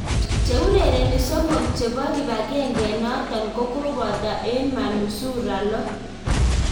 Cheurereni somok chepo kipangengenaton kokopato eng manusura lo.